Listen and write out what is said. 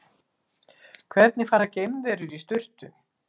Hvernig fara geimverur í sturtu?